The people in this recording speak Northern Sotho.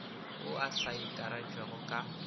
wo o sa akaretšwago ka